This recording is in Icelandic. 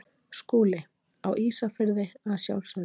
SKÚLI: Á Ísafirði að sjálfsögðu.